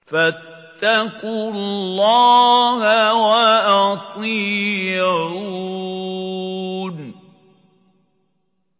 فَاتَّقُوا اللَّهَ وَأَطِيعُونِ